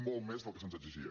molt més del que se’ns exigia